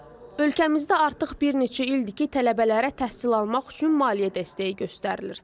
Ölkəmizdə artıq bir neçə ildir ki, tələbələrə təhsil almaq üçün maliyyə dəstəyi göstərilir.